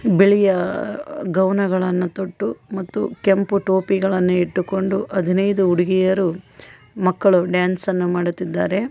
ಬಿಳಿಯ ಗೌನಗಳನ್ನು ತೊಟ್ಟು ಮತ್ತು ಕೆಂಪು ಟೋಪಿಗಳನ್ನು ಇಟ್ಟುಕೊಂಡು ಹದಿನೈದು ಹುಡುಗಿಯರು ಮತ್ತು ಮಕ್ಕಳು ಡ್ಯಾನ್ಸ್ ಅನ್ನು ಮಾಡುತ್ತಿದ್ದಾರೆ.